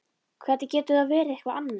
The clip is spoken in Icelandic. Hvernig getur það verið eitthvað annað?